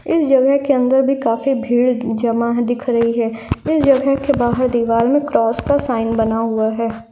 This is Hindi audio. इस जगह के अंदर भी काफी भीड़ जमा है दिख रही है इस जगह के बाहर दिवाल में क्रॉस का साइन बना हुआ है।